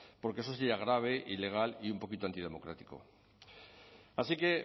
porque eso sería grave ilegal y un poquito antidemocrático así que